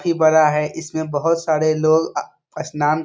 बोहोत ही बड़ा है। इसमें बोहोत सारे लोग अ स्नान --